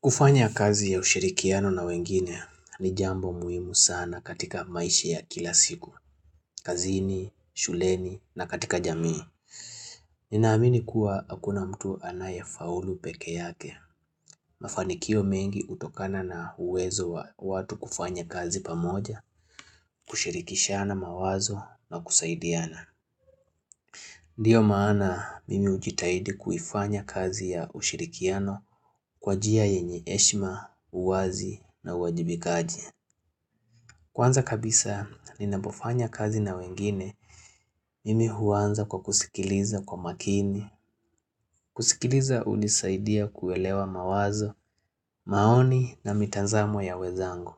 Kufanya kazi ya ushirikiano na wengine ni jambo muhimu sana katika maisha ya kila siku. Kazini, shuleni na katika jamii. Ninaamini kuwa hakuna mtu anaye faulu peke yake. Mafanikio mengi utokana na uwezo wa watu kufanya kazi pamoja, kushirikishana mawazo na kusaidiana. Ndiyo maana mimi hujitahidi kuifanya kazi ya ushirikiano kwa jia yenye heshima, uwazi na uwajibikaji. Kwanza kabisa ninapofanya kazi na wengine Mimi huanza kwa kusikiliza kwa makini kusikiliza unisaidia kuelewa mawazo maoni na mitazamo ya wenzangu